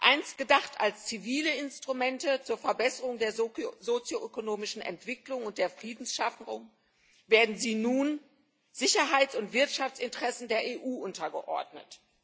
Einst gedacht als zivile Instrumente zur Verbesserung der sozioökonomischen Entwicklung und der Friedensschaffung, werden sie nun Sicherheits und Wirtschaftsinteressen der EU untergeordnet.